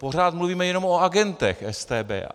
Pořád mluvíme jenom o agentech StB.